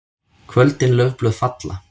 KVÖLDIN LAUFBLÖÐ FALLA.